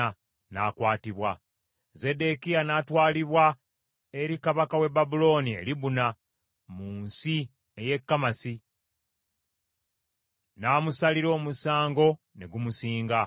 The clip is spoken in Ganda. N’akwatibwa. Zeddekiya n’atwalibwa eri kabaka w’e Babulooni e Libuna mu nsi ey’e Kamasi; n’amusalira omusango ne gumusinga.